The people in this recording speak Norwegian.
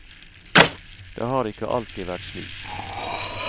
Det har ikke alltid vært slik.